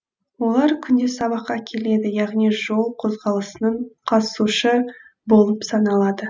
олар күнде сабаққа келеді яғни жол қозғалысының қатысушы болып саналады